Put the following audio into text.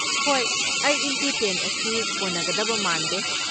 ꯍꯣꯏ, eight into ten ꯑꯁꯤ ꯀꯣꯟꯅꯒꯗꯕ ꯃꯥꯟꯗꯦ꯫